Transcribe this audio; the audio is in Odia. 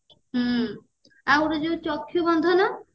ହୁଁ ଆଉ ଗୋଟେ ଯୋଉ ଚକ୍ଷ୍ଯୁ ବନ୍ଧନ